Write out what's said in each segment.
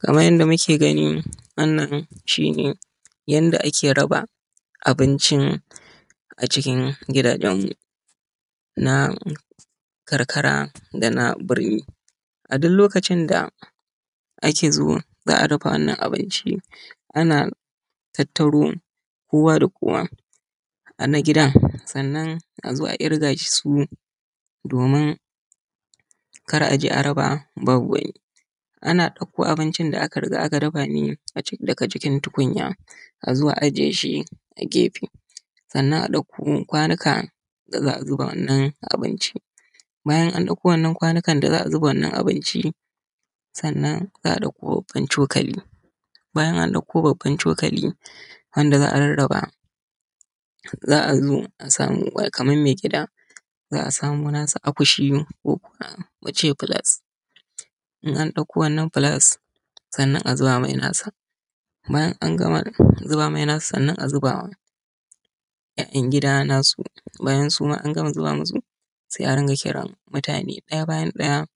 Kaman yadda muke gani wannan shi ne yadda ake raba abincin a cikin gidaje na karkara da na birni a duk lokacin da zaa raba wannan abinci ana tattaro kowa da kowa sannan azoa kiga su saboda kar azo a raba ban a wani sannan a dakkokwanuka da zaa zuba wannan abinci zaa fara zuba wa mai gida bayan an zuba masa sai a zuba wa sauran yan gida nasu sai a rika kiransu daya bayan daya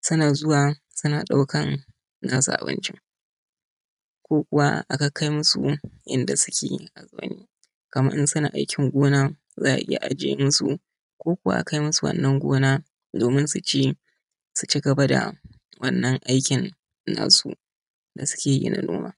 suna karban nasu abincin kaman in suna aikin gona zaa iya kaimu su wannan gona ko kuma a ajiyae musu.